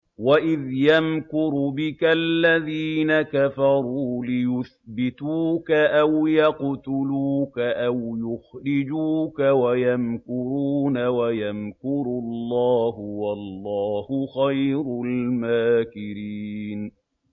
وَإِذْ يَمْكُرُ بِكَ الَّذِينَ كَفَرُوا لِيُثْبِتُوكَ أَوْ يَقْتُلُوكَ أَوْ يُخْرِجُوكَ ۚ وَيَمْكُرُونَ وَيَمْكُرُ اللَّهُ ۖ وَاللَّهُ خَيْرُ الْمَاكِرِينَ